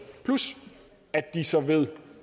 plus at de så ved